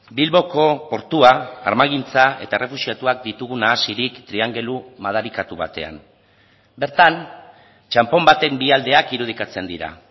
bilboko portua armagintza eta errefuxiatuak ditugu nahasirik triangelu madarikatu batean bertan txanpon baten bi aldeak irudikatzen dira